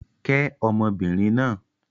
Kẹ́ ọmọbìnrin náà!